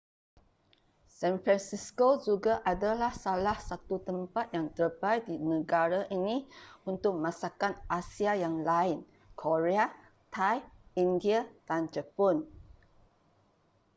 san francisco juga adalah salah satu tempat yang terbaik di negara ini untuk masakan asia yang lain korea thai india dan jepun